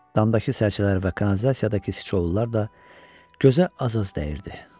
Damdakı sərçələr və kanalizasiyadakı siçovullar da gözə az-az dəyirdi.